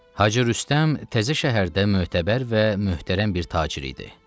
Hacı Rüstəm təzə şəhərdə mötəbər və möhtərəm bir tacir idi.